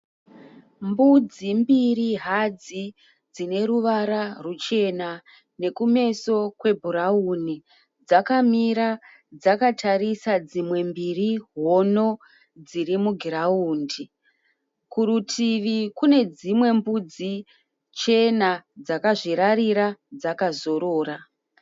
Mbudzi mbiri hadzi dzineruvara ruchena nekumeso kwebhurauni dzakamira dzakatarisa dzimwe mbiri hono dzirimugiraundi. Kurutivi kunedzimwe mbudzi chena dzakazvirarira dzakazorora.